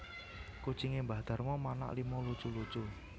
Kucinge mbah Darmo manak lima lucu lucu